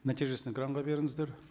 нәтижесін экранға беріңіздер